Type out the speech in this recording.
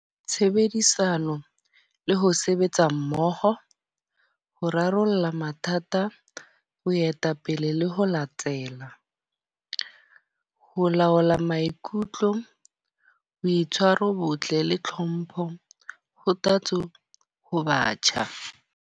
Tshebedisano le ho sebetsa mmoho. Ho rarolla mathata, boetapele le ho latela. Ho laola maikutlo, boitshwaro bo botle le tlhompho ho tatso ho batjha.